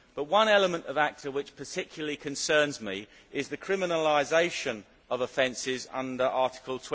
But one element of ACTA which particularly concerns me is the criminalisation of offences under Article